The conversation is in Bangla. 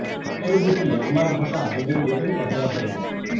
উঁকি মেরে দেখি আমার ভাষা দুদিন যেতেই অধরা হয়ে গেছে